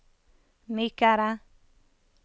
mykere